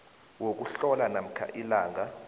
wokuhlola namkha ilanga